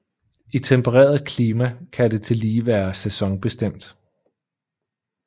I tempereret klima kan det tillige være sæsonbestemt